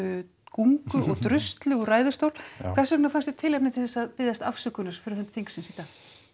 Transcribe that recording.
gungu og druslu úr ræðustól hvers vegna fannst þér tilefni til að biðjast afsökunar á fyrir hönd þingsins í dag